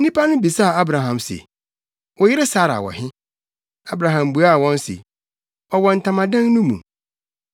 Nnipa no bisaa Abraham se, “Wo yere Sara wɔ he?” Abraham buaa wɔn se, “Ɔwɔ ntamadan no mu.”